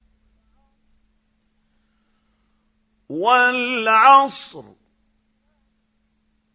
وَالْعَصْرِ